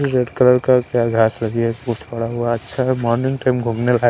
red colour का क्या घास लगी है मॉर्निंग टाइम घूमने लायक --